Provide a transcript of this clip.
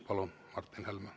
Palun, Martin Helme!